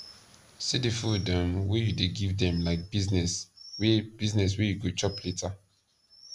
see di food um wey u dey give dem like business wey business wey u go chop later